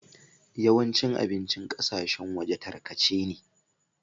Yawancin abincin ƙasashen waje takarce ne.